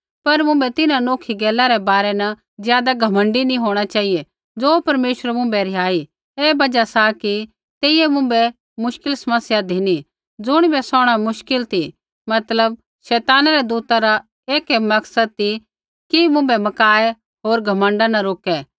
पर मुँभै तिन्हां नौखी गैला रै बारै न ज़ादा घमण्डी नैंई होंणा चेहिऐ ज़ो परमेश्वरै मुँभै रिहाई ऐ बजहा सा कि तेइयै मुँभै मुश्किल समस्या धिनी ज़ुणिबै सौहणा मुश्किल ती मतलब शैताना रै दूता रा एक ऐ मकसद ती कि मुँभै मकाऐ होर घमण्ड केरनै न रोकै